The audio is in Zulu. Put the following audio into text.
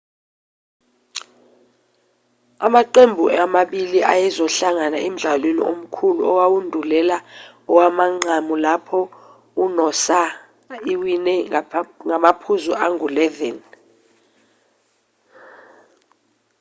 amaqembu amabili ayezohlangana emdlalweni omkhulu owandulela owamanqamu lapho inoosa iwine ngamaphuzu angu-11